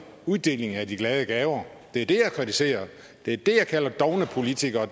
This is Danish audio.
uddelingen af de glade gaver det er det jeg kritiserer det er det jeg kalder dovne politikere